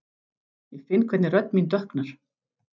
Ég finn hvernig rödd mín dökknar.